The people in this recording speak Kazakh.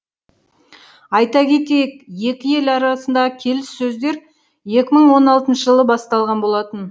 айта кетейік екі ел арасындағы келіссөздер екі мың он алты жылы басталған болатын